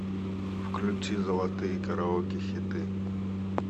включи золотые караоке хиты